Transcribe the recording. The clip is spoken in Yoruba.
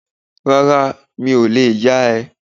Rárá, mi ò lè yá ẹ